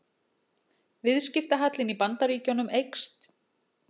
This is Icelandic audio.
Viðskiptahallinn í Bandaríkjunum eykst